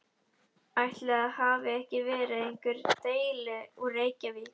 Ætli það hafi ekki verið einhver deli úr Reykjavík.